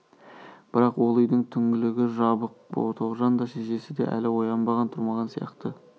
бірақ ол үйдің түңлігі жабық тоғжан да шешесі де әлі оянбаған тұрмаған сияқты